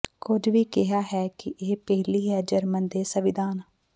ਕੁਝ ਵੀ ਕਿਹਾ ਹੈ ਕਿ ਇਹ ਪਹਿਲੀ ਹੈ ਜਰਮਨ ਦੇ ਸੰਵਿਧਾਨ